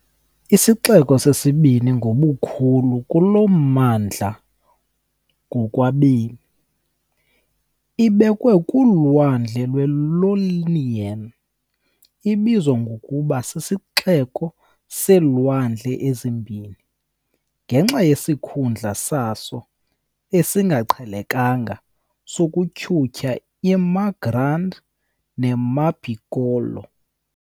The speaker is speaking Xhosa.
Isixeko sesibini ngobukhulu kulo mmandla ngokwabemi, ibekwe kuLwandle lwe-Ionian , ibizwa ngokuba "sisiXeko seeLwandle eziMbini" , ngenxa yesikhundla saso esingaqhelekanga sokutyhutyha iMar Grande neMar Piccolo.